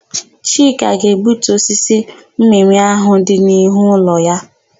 Chika ga-egbutu osisi mmịmị áhụ̀ dị n'ihu ụlọ ya.